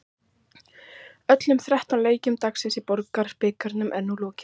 Öllum þrettán leikjum dagsins í Borgunarbikarnum er nú lokið.